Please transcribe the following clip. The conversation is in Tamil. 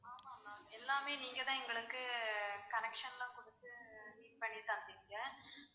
ஆமா ma'am எல்லாமே நீங்க தான் எங்களுக்கு connection லாம் கொடுத்து பண்ணி தந்தீங்க